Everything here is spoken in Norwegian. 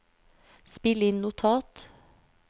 spill inn notat